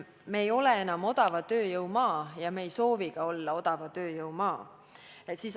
Me ei ole enam odava tööjõu maa ja me ka ei soovi olla odava tööjõu maa.